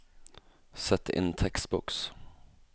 Sett inn tekstboks